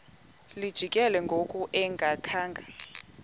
lijikile ngoku engakhanga